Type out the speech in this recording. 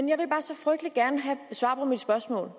jeg vil bare så frygtelig gerne have svar på mit spørgsmål